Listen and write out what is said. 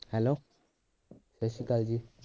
hello ਸਤਿ ਸ਼੍ਰੀ ਅਕਾਲ ਜੀ